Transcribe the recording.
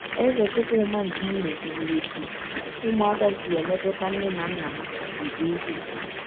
Eze Chukwuma nke Imo kwuru etu ụmụaka si emetụta nne na nna ha nke ukwuu.